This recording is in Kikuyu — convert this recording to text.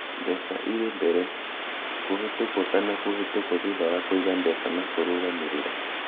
Mbeca irĩ mbere - kũhĩtũkwo kana kũhĩtũkwo thutha wa kũiga mbeca na kũrũgamĩrĩra.